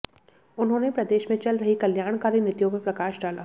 उन्होंने प्रदेश में चल रही कई कल्याणकारी नीतियों पर प्रकाश डाला